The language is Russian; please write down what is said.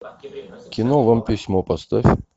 кино вам письмо поставь